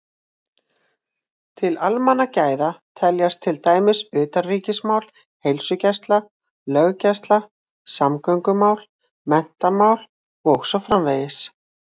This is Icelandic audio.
Til almannagæða teljast til dæmis utanríkismál, heilsugæsla, löggæsla, samgöngumál, menntamál og svo framvegis.